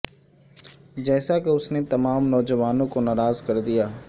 جیسا کہ اس نے تمام نوجوانوں کو ناراض کردیا